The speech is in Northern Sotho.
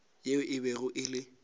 yeo e bego e le